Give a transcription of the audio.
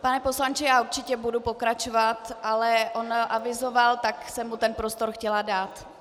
Pane poslanče, já určitě budu pokračovat, ale on avizoval, tak jsem mu ten prostor chtěla dát.